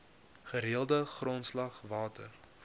gereelde grondslag water